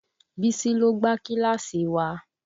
Bísí ló gbá kíláàsì wa